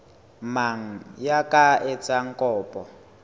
mang ya ka etsang kopo